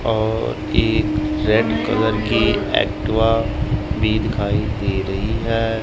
और एक red colour की एक्टिवा भी दिखाई दे रही है।